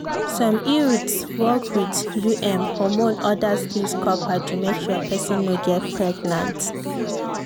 some iuds work with um hormone others use copper to make sure person no get pregnant.